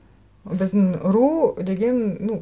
біздің ру деген ну